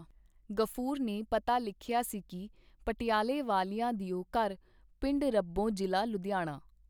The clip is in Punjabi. ਗ਼ਫੂਰ ਨੇ ਪਤਾ ਲਿਖਿਆ ਸੀ ਕੀ ਪਟਿਆਲੇ ਵਾਲਿਆਂ ਦਿਓ ਘਰ ਪਿੰਡ ਰੱਬੋਂ ਜ਼ਿਲ੍ਹਾ ਲੁਧਿਆਣਾ.